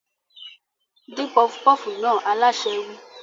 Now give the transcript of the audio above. Dín pọfupọ́fù náà! Alásè wí.